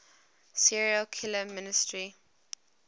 serial killer mystery